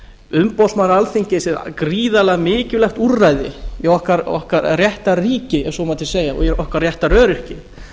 umboðsmaður alþingis er gríðarlega mikilvægt úrræði í okkar réttarríki ef svo mætti segja og í okkar réttaröryggi